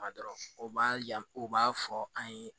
Ma dɔrɔn o b'a yan o b'a fɔ an ye